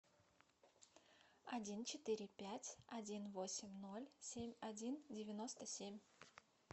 один четыре пять один восемь ноль семь один девяносто семь